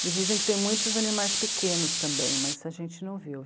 Eles dizem que tem muitos animais pequenos também, mas a gente não viu.